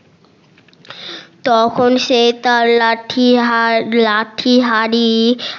তখন সে তার লাঠি হার লাঠি হাড়ি